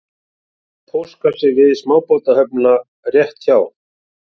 Það var póstkassi við smábátahöfnina rétt hjá